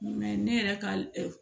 ne yɛrɛ ka